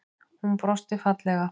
Hún brosti fallega.